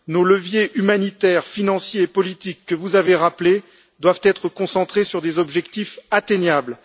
Nos leviers humanitaires, financiers et politiques, que vous avez rappelés, doivent être concentrés sur des objectifs atteignables.